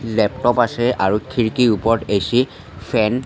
laptop আছে আৰু খিৰিকীৰ ওপৰত এ_চি ফেন --